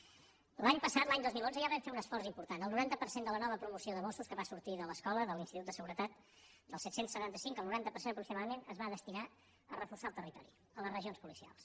l’any passat l’any dos mil onze ja vam fer un esforç important el noranta per cent de la nova promoció de mossos que va sortir de l’escola de l’institut de seguretat dels set cents i setanta cinc el noranta per cent aproximadament es va destinar a reforçar el territori a les regions policials